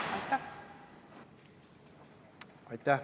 Aitäh!